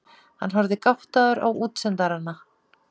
Hann horfði gáttaður á útsendarana.